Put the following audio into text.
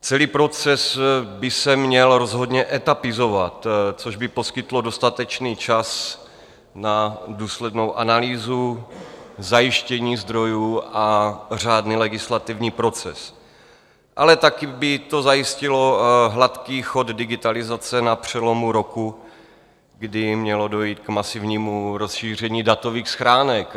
Celý proces by se měl rozhodně etapizovat, což by poskytlo dostatečný čas na důslednou analýzu, zajištění zdrojů a řádný legislativní proces, ale taky by to zajistilo hladký chod digitalizace na přelomu roku, kdy mělo dojít k masivnímu rozšíření datových schránek.